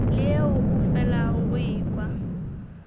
leo o felago o ekwa